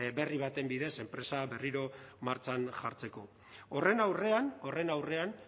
berri baten bidez enpresa berriro martxan jartzeko horren aurrean horren aurrean